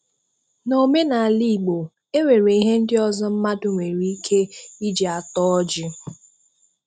N'omenala Igbo, enwere ihe ndị ọzọ mmadụ nwere ike iji ata ọjị